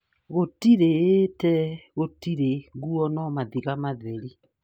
Gũtire ĩ te, gũtirĩ nguo no mathiga matheri .'